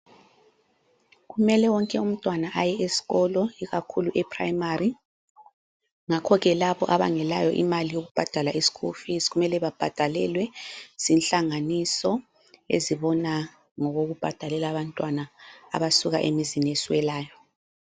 Kumele wonke umntwana aye esikolo ikakhulu ePrimary. Ngakhoke labo abangelayo imali yokubhadala ischool fees kumele babhadalelwe zinhlanganiso ezibona ngokokubhadalela abantwana abasuka emizini eswelayo.